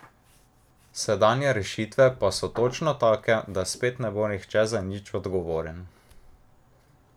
Sedanje rešitve pa so točno take, da spet ne bo nihče za nič odgovoren.